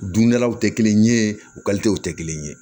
Dundalaw tɛ kelen ye tɛ kelen ye